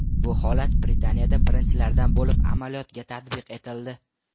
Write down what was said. Bu holat Britaniyada birinchilardan bo‘lib amaliyotga tatbiq etildi.